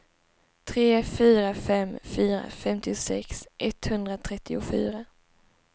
tre fyra fem fyra femtiosex etthundratrettiofyra